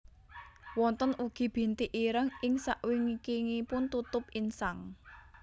Wonten ugi bintik ireng ing sakwingkingipun tutup insang